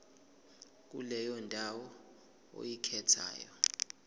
kuleyo ndawo oyikhethayo